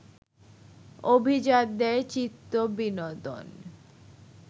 অভিজাতদের চিত্তবিনোদন